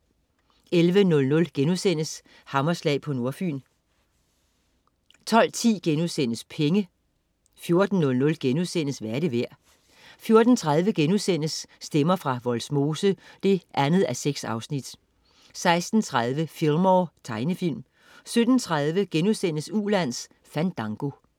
11.00 Hammerslag på Nordfyn* 12.10 Penge* 14.00 Hvad er det værd?* 14.30 Stemmer fra Vollsmose 2:6* 16.30 Fillmore. Tegnefilm 17.30 Ulands Fandango*